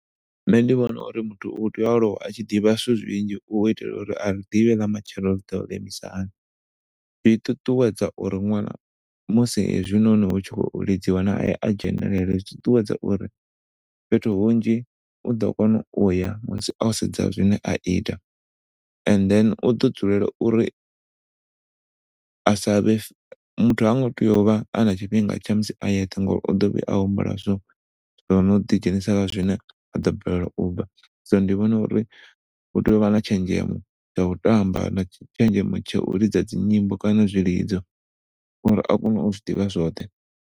Ṋne ndi vhona uri muthu u tea u aluwa a tshi ḓivha zwithu zwinzhi u itela uri ḓivhe nga matshelo ḽi ḓo vha ḽo imisa hani. Zwi ṱuṱuwedza uri ṅwana musi hezwi noni hutshi khou lidziwa hayani a dzhenelela zwi ṱuṱuwedza uri fhethu hunzhi uḓo kona uya musi o sedza zwine a ita and then u ḓo dzulela uri sa vhe, muthu hango tea u vha ana tshifhinga a yeṱhe ngauri uḓo vhuya a humbula zwo, zwo ḓi dzhenisa kha zwine aḓo balela ubva so ndi vhona uri hu tea u vha na tshenzhemo ya u tamba na tshenzhemo ya u lidza dzi nyimbo kana zwilidzo uri a kone u zwiḓivha zwoṱhe.